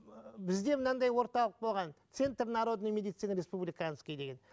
бізде мынандай орталық болған центр народной медицины республиканский деген